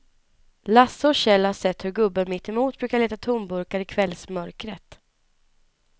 Lasse och Kjell har sett hur gubben mittemot brukar leta tomburkar i kvällsmörkret.